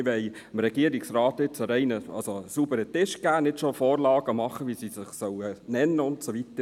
Wir wollen dem Regierungsrat jetzt einen sauberen Tisch geben und nicht schon Vorgaben machen, wie sie sich nennen sollen.